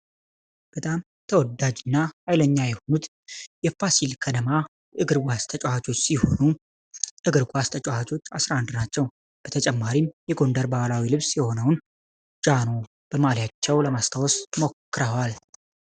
በጣም ተወዳጁና ሃይለኛ የሆኑት የሆኑት የፋሲል ከነማ እግር ኳስ ተጫዋች ሲሆኑ እግር ኳስ ተጫዋቾች 11 ናቸው በተጨማሪም የጎንደር ባህላዊ ልብስ የሆነውን ጃኖ በማሊያቸው ለማስታወስ ሞክረዋል።